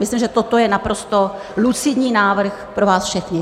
Myslím, že toto je naprosto lucidní návrh pro vás všechny.